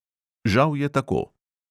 Žal je tako!